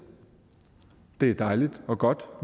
det er dejligt og godt